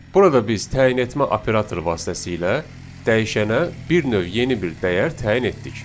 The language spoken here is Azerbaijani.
Burada biz təyin etmə operatoru vasitəsilə dəyişənə bir növ yeni bir dəyər təyin etdik.